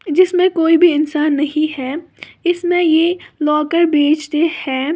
जिसमें कोई भी इंसान नहीं है इसमें ये लॉकर बेचते हैं।